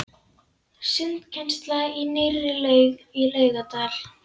Sundkennsla í nýrri laug í Laugardal.